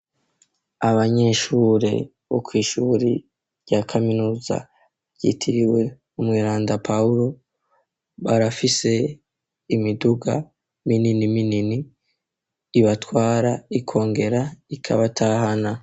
Abanyeshure bo kwishuri rya kaminuza yitiriwe umweranda Pawulo .barafise imiduga minini minini ibatwara ikongera ikabatahana.